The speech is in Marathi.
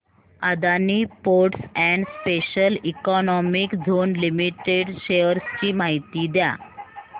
Adani ports and special economic zone limited shares ची माहिती द्या